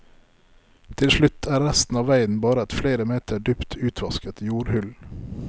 Til slutt er resten av veien bare et flere meter dypt utvasket jordhull.